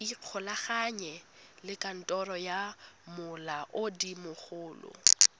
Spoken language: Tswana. ikgolaganye le kantoro ya molaodimogolo